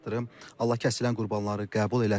Allah kəsilən qurbanları qəbul eləsin.